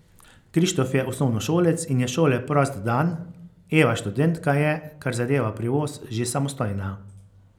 Krištof je osnovnošolec in je šole prost dan, Eva, študentka, je, kar zadeva prevoz, že samostojna.